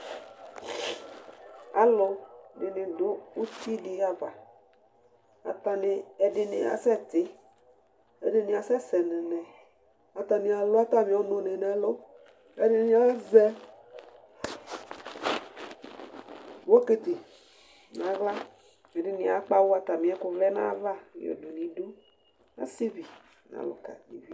Alʋ dɩnɩ dʋ uti dɩ ava Atanɩ, ɛdɩnɩ asɛ tɩ,ɛdɩnɩ asɛsɛ nɛnɛ ; atanɩ alʋ atamɩɔnʋ nɩ nɛlʋƐdɩnɩ azɛ bokiti naɣla ,ɛdɩnɩ akpawʋ atamɩɛkʋ vlɛ nayava yɔdʋ n' iduAsɩ bɩ n 'alʋka nɩ bɩ